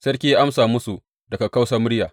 Sarki ya amsa musu da kakkausar murya.